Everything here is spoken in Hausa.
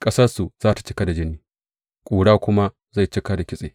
Ƙasarsu za tă cika da jini, ƙura kuma zai cika da kitse.